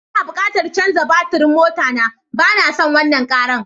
N'na bukatan chanzar batirin mota na, ba na son wanan Karan.